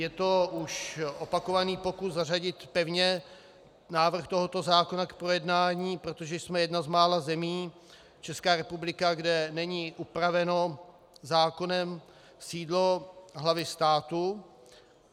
Je to už opakovaný pokus zařadit pevně návrh tohoto zákona k projednání, protože jsme jedna z mála zemí, Česká republika, kde není upraveno zákonem sídlo hlavy státu.